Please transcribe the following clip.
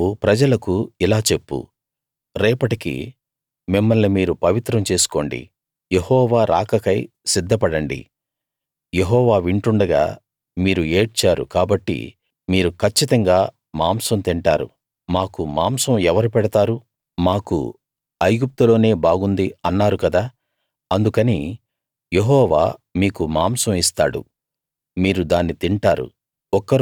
నువ్వు ప్రజలకుఇలా చెప్పు రేపటికి మిమ్మల్ని మీరు పవిత్రం చేసుకోండి యెహోవా రాకకై సిద్ధపడండి యెహోవా వింటుండగా మీరు ఏడ్చారు కాబట్టి మీరు కచ్చితంగా మాంసం తింటారు మాకు మాంసం ఎవరు పెడతారు మాకు ఐగుప్తులోనే బాగుంది అన్నారు గదా అందుకని యెహోవా మీకు మాంసం ఇస్తాడు మీరు దాన్ని తింటారు